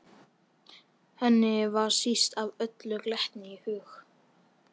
Henni va síst af öllu glettni í hug.